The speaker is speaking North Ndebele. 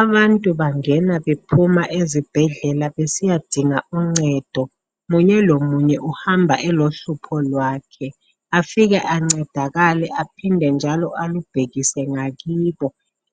Abantu bangena bephuma ezibhedlela besiya dinga uncedo, munye lomunye uhamba elohlupho lwakhe afike ancedakale aphinde njalo alubhekise ngakibo,